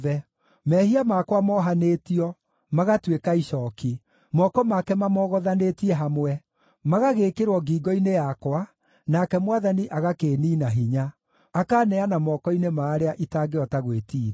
“Mehia makwa mohanĩtio, magatuĩka icooki. Moko make mamogothanĩtie hamwe. Magagĩĩkĩrwo ngingo-inĩ yakwa, nake Mwathani agakĩĩniina hinya. Akaaneana moko-inĩ ma arĩa itangĩhota gwĩtiiria.